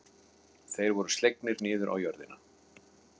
Þeir voru slegnir niður á jörðina.